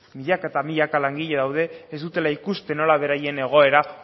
milaka eta milaka langile daude ez dutela ikusten nola beraien egoera